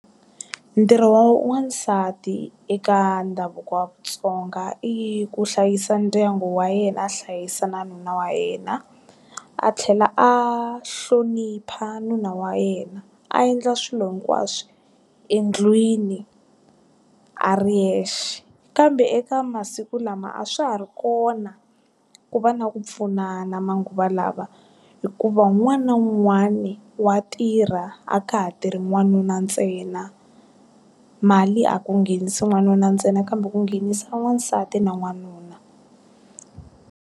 Ntirho wa n'wansati eka ndhavuko wa vatsonga i ku hlayisa ndyangu wa yena a hlayisa na nuna wa yena. A tlhela a hlonipha nuna wa yena. A endla swilo hinkwaswo endlwini, a ri yexe. Kambe eka masiku lama a swa ha ri kona, ku va na ku pfunana manguva lawa. Hikuva wun'wani na wun'wani wa tirha, a ka ha tirhi n'wanuna ntsena. Mali a ku nghenisi n'wanuna ntsena kambe ku nghenisa n'wansati na n'wanuna.